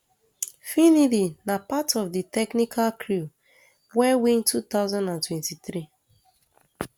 finidi na part of di technical crew wey win two thousand and twenty-three um